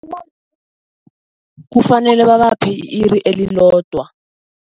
Kufanele babaphe i-iri elilodwa.